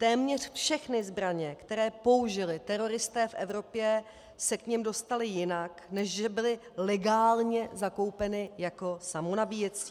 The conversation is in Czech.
Téměř všechny zbraně, které použili teroristé v Evropě, se k nim dostaly jinak, než že byly legálně zakoupeny jako samonabíjecí.